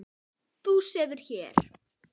Þú sefur hér.